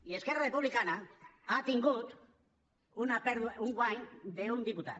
i esquerra republicana ha tingut un guany d’un diputat